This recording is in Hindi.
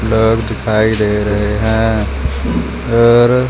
घर दिखाई दे रहे है और--